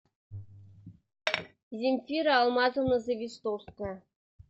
земфира алмазовна завистовская